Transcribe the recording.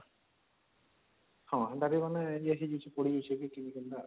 ହଁ ଏନ୍ତା ମାନେ ୟେ ହେଇଯାଇଛି